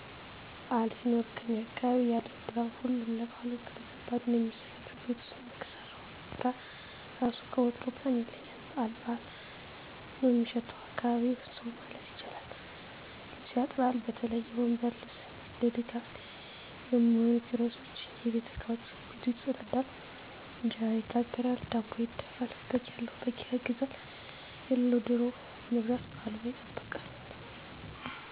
በዓል ሲኖር ከኛ አካባቢ ያለው ድባብ ሁሉም ለበዓሉ በከባዱ ነው ሚዘጋጀው ቤት ውስጥ ሚሰራው ስራ ራሱ ከወትሮው በጣም ይለያል በቃ በዓል በዓል ነው ሚሸተው አካባቢው። ሰው ማለት ይቻላል ልብስ ያጥባል በተለይ የወንበር ልብስ፣ ለድጋፍ ሚሆኑ ኪሮሶች፣ የቤት እቃወች፣ ቤቱ ይፀዳዳል፣ እንጀራ ይጋገራል፣ ዳቦ ይደፋል፣ በግ ያለው በግ ይገዛል የለለውም ደሮ በመግዛት በዓሉን ይጠብቁታል።